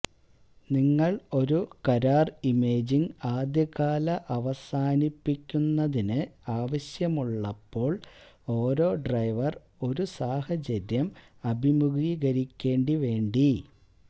നിങ്ങൾ ഒരു കരാർ ഇമേജിംഗ് ആദ്യകാല അവസാനിപ്പിക്കുന്നതിന് ആവശ്യമുള്ളപ്പോൾ ഓരോ ഡ്രൈവർ ഒരു സാഹചര്യം അഭിമുഖീകരിക്കേണ്ടി വേണ്ടി